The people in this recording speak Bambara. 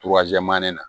na